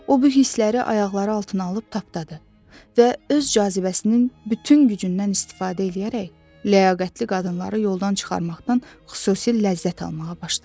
O bu hissləri ayaqları altına alıb tapdadı və öz cazibəsinin bütün gücündən istifadə eləyərək ləyaqətli qadınları yoldan çıxarmaqdan xüsusi ləzzət almağa başladı.